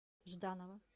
жданова